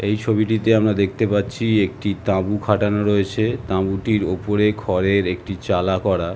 এই ছবিটিতে আমরা দেখতে পাচ্ছি একটি তাঁবু খাটানো রয়েছে | তাঁবুটির ওপরে খড়ের একটি চালা করা ।